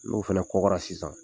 N'o fana kɔkɔra sisan